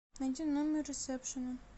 найди номер ресепшена